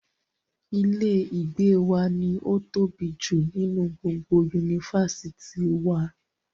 Ilé ìgbé wa ni ó tóbi jù nínú gbogbo yunifásítì wa.